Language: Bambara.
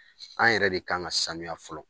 An yɛrɛ de kan ka sanuya fɔlɔ